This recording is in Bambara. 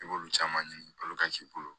I b'olu caman ɲini k'i bolo